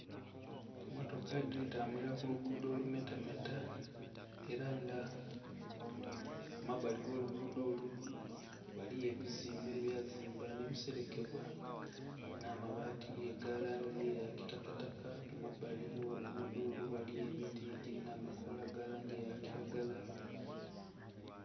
Emmotoka diri tambulira kulugudho olumetameta era nga kumabbali agolugudo olwo ghaligho ebizimbe ebyazibwa nebiserekebwa n'amabaati agalangi eyakitakataka, kumabbali ogh'olugudo ghaliyo emiti egirinha amakola agalangi eyakiragala.